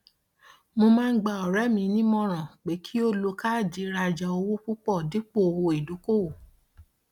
mo máa ń gba ọrẹ mi nímọràn pé kí ó lo káàdì ìrajà owó púpọ dípò owó ìdókòwò